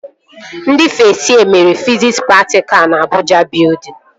Ndị fest yee mere fiziks praktikalụ na Abụja Bịudịn